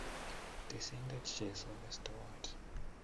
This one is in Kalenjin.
Tisiindet Jesu, Mestowot,